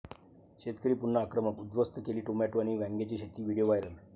शेतकरी पुन्हा आक्रमक, उद्धस्त केली टोमॅटो आणि वांग्याची शेती! Video viral